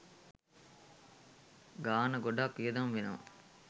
ගාන ගොඩාක් වියදම් වෙනවා.